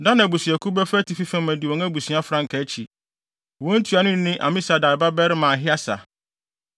Dan abusuakuw bɛfa atifi fam adi wɔn abusua frankaa akyi. Wɔn ntuanoni ne Amisadai babarima Ahieser.